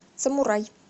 самурай